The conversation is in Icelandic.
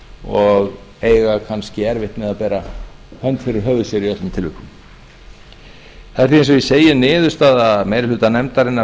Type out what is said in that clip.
og eiga kannski erfitt með að bera hönd fyrir höfuð sér í öllum tilvikum það er því eins og ég segi niðurstaða meiri hluta nefndarinnar